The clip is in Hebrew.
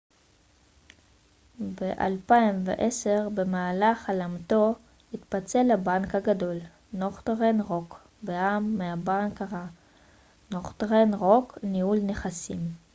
"ב-2010 במהלך הלאמתו התפצל הבנק הגדול נורת'רן רוק בע""מ מ""הבנק הרע" נורת'רן רוק ניהול נכסים.